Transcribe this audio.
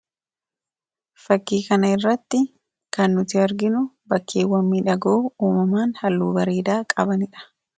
Fakkii kana irratti kan nuti arginu, bakkeewwan miidhagoo uumamaan, halluu bareedaa qabanidha.